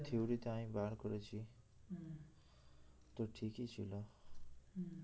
theory তে আমি করেছি তো ঠিকই ছিল